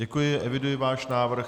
Děkuji, eviduji váš návrh.